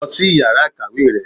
lú sí íyará ikáwe rẹ